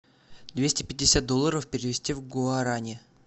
двести пятьдесят долларов перевести в гуарани